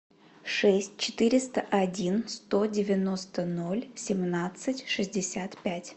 шесть четыреста один сто девяносто ноль семнадцать шестьдесят пять